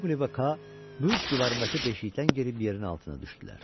Maqli və Kaa bürc divarındakı deşikdən girib yerin altına düşdülər.